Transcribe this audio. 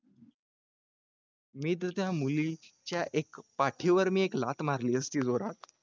मी तर त्या मुलीच्या पाठीवर एक लाथ मारली असती जोरात.